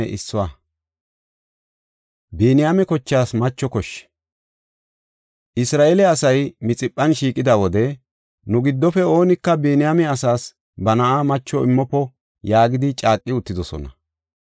Isra7eele asay Mixiphan shiiqida wode, “Nu giddofe oonika Biniyaame asas ba na7a macho immofo” yaagidi caaqi uttidosona.